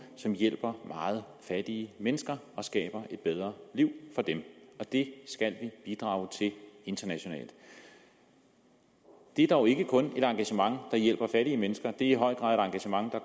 som hjælper meget fattige mennesker og skaber et bedre liv for dem det skal vi bidrage til internationalt det er dog ikke kun et engagement der hjælper fattige mennesker det er i høj grad et engagement der